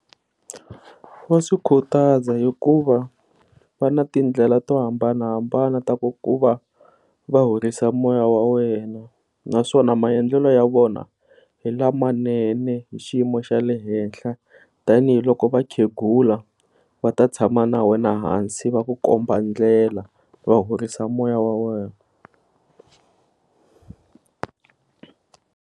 Wa swi khutaza hikuva va na tindlela to hambanahambana ta ku ku va horisa moya wa wena naswona maendlelo ya vona hi lamanene hi xiyimo xa le henhla tanihiloko vakhenghula va ta tshama na wena ehansi va ku komba ndlela va horisa moya wa wena.